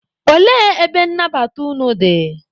Olee ebe nnabata unu dị?